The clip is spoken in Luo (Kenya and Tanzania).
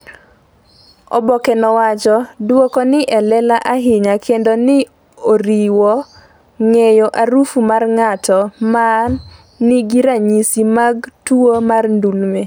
oboke no wacho ''Dwoko ni e lela ahinya kendo ne oriwo ng’eyo aruf mar ng’at ma nigi ranyisi mag tuwo mar ndumle